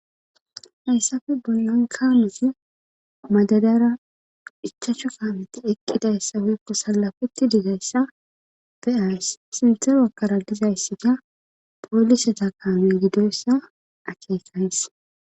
hayssafe boyonkaameti madadara ichaachcho kaameti eqqidayssa weeko salafeti dizayssa beays sinthe wakkara dizayssi ga poolise takame gidoyssa akeekays